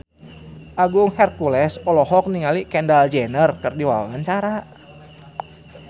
Agung Hercules olohok ningali Kendall Jenner keur diwawancara